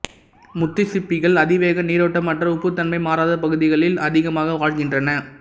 முத்து சிப்பிகள் அதிவேக நீரோட்டமற்ற உப்புத்தன்மை மாறாத பகுதிகளில் அதிகமாக வாழ்கின்றன